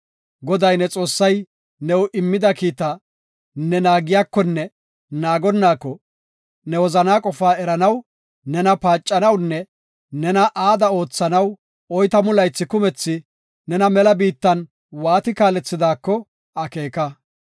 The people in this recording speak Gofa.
Goday, ne Xoossay new immida kiita ne naagiyakonne naagonnaako, ne wozanaa qofaa eranaw nena paacanawunne nena aada oothanaw oytamu laythi kumethi nena mela biittan waati kaalethidaako akeeka.